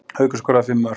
Haukur skoraði fimm mörk